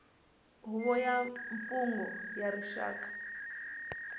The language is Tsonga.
huvo ya mimfungho ya rixaka